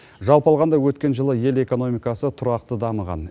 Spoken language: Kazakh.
жалпы алғанда өткен жылы ел экономикасы тұрақты дамыған